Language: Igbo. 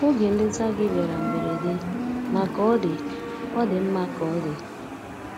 Oge nleta gị bịara mberede, ma ka ọ dị, ọ dị mma ka ọ dị.